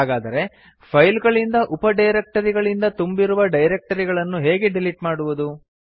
ಹಾಗಾದರೆ ಫೈಲ್ ಗಳಿಂದ ಉಪ ಡೈರಕ್ಟರಿಗಳಿಂದ ತುಂಬಿರುವ ಡೈರಕ್ಟರಿಯನ್ನು ಹೇಗೆ ಡಿಲಿಟ್ ಮಾಡುವುದು